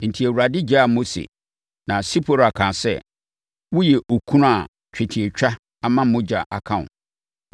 Enti Awurade gyaa Mose. Na Sipora kaa sɛ, “Woyɛ okunu a twetiatwa ama mogya aka wo.”